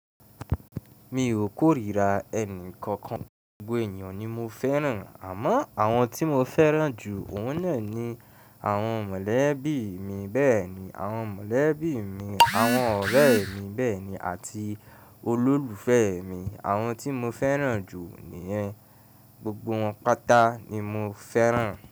Mi ò kórìíra ẹnì kankan, gbogbo ènìyàn ni mo fẹ́ràn àmọ́ àwọn tí mo fẹ́ràn jù òun náà ni àwọn mọ̀lẹ́bí mi bẹ́ẹ̀ni, àwọn mọ̀lẹ́bí mi, àwọn ọ̀rẹ́ mi bẹ́ẹ̀ni àti olólùfẹ́ mi, àwọn tí mo fẹ́ràn jù níyẹn, gbogbo wọn pátá ni mo fẹ́ràn.